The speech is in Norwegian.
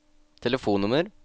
telefonnummer